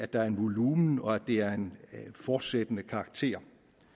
der er en volumen og at det er af en fortsættende karakter